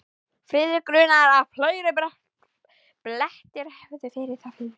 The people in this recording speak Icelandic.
Friðrik grunaði, að fleiri blettir hefðu verið þar fyrir.